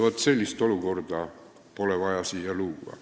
Vaat sellist olukorda pole vaja luua.